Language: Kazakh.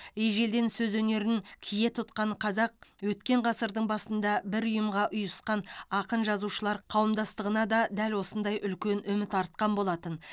ежелден сөз өнерін кие тұтқан қазақ өткен ғасырдың басында бір ұйымға ұйысқан ақын жазушылар қауымдастығына да дәл осындай үлкен үміт артқан болатын